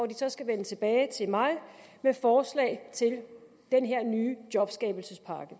de så skal vende tilbage til mig med forslag til denne nye jobskabelsespakke